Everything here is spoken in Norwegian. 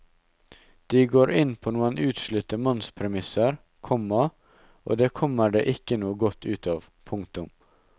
De går inn på noen utslitte mannspremisser, komma og det kommer det ikke noe godt ut av. punktum